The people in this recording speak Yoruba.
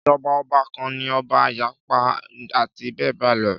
Ìjọba ọba kan ní ọba, ayaba, àti bẹ́ẹ̀bẹ́ẹ̀ lọ.